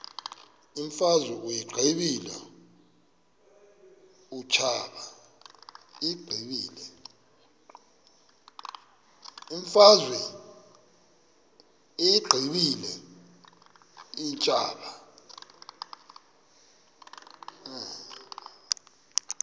imfazwe uyiqibile utshaba